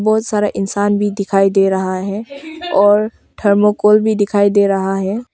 बहुत सारे इंसान भी दिखाई दे रहा है और थर्माकोल भी दिखाई दे रहा है।